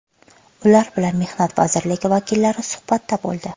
Ular bilan mehnat vazirligi vakillari suhbatda bo‘ldi.